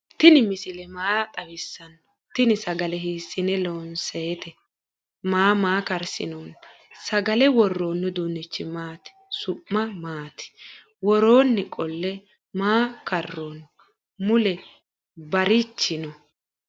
tini misile maa xawisano? teni sagale hisine lonsoyite maana maa karsinoni? sagale woroni uudunichi maati su'mi maati? woroni qole maa karoni? mule barichi no?